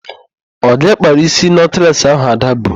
Ọ gị kpara isi nọtles ahụ Ada bu?